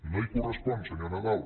no hi correspon senyor nadal